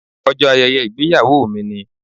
Ọjọ́ ayẹyẹ ìgbéyàwó mi ni.